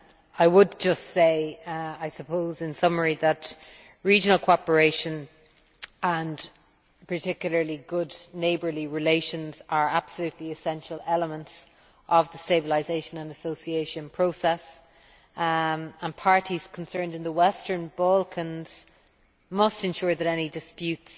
I would just say, I suppose in summary, that regional cooperation and particularly good neighbourly relations are absolutely essential elements of the stabilisation and association process, and parties concerned in the Western Balkans must ensure that any disputes